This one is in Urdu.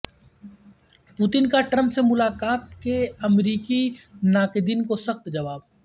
پوتن کا ٹرمپ سے ملاقات کے امریکی ناقدین کو سخت جواب